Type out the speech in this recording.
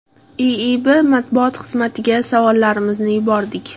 IIB matbuot xizmatiga savollarimizni yubordik.